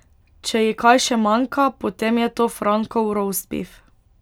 Če ji kaj še manjka, potem je to Frankov rostbif ...